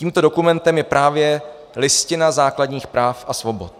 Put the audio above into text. Tímto dokumentem je právě Listina základních práv a svobod.